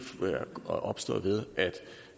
opstået ved